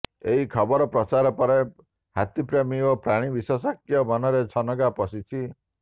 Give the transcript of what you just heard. ଏହି ଖବର ପ୍ରଚାର ପରେ ହାତୀପ୍ରେମୀ ଓ ପ୍ରାଣୀ ବିଶେଷଜ୍ଞଙ୍କ ମନରେ ଛନକା ପଶିଛି